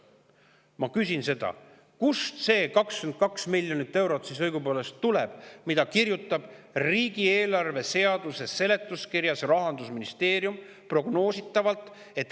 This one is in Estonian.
Ma küsin, kust siis õigupoolest tuleb see 22 miljonit eurot, millest kirjutab ja mida prognoosib riigieelarve seaduse seletuskirjas Rahandusministeerium.